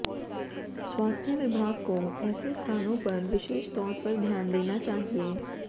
स्वास्थ्य विभाग को ऐसे स्थानों पर विशेष तौर पर ध्यान देना चाहिए